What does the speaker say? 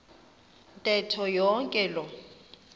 ntetho yonke loo